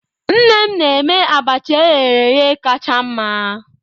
Nne m na-eme abacha eghereghe kacha mma.